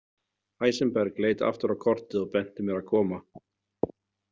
Heisenberg leit aftur á kortið og benti mér að koma.